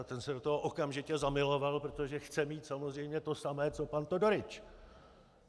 A ten se do toho okamžitě zamiloval, protože chce mít samozřejmě to samé co pan Todorič.